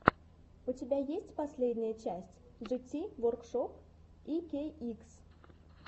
у тебя есть последняя часть джити воркшоп икейикс